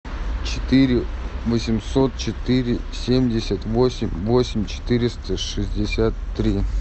четыре восемьсот четыре семьдесят восемь восемь четыреста шестьдесят три